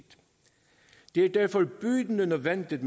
det er derfor bydende nødvendigt